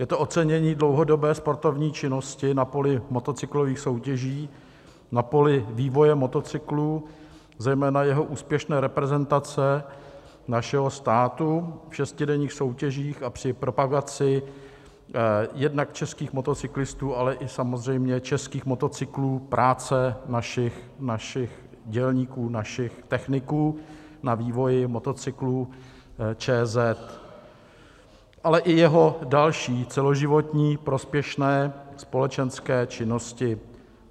Je to ocenění dlouhodobé sportovní činnosti na poli motocyklových soutěží, na poli vývoje motocyklů, zejména jeho úspěšné reprezentace našeho státu v šestidenních soutěžích a při propagaci jednak českých motocyklistů, ale i samozřejmě českých motocyklů, práce našich dělníků, našich techniků na vývoji motocyklů ČZ, ale i jeho další celoživotní prospěšné společenské činnosti.